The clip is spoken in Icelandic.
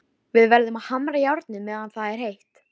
Við verðum að hamra járnið meðan það er heitt.